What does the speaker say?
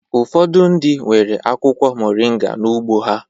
Ụfọdụ ndị nwere akwụkwọ moringa n'ugbo ha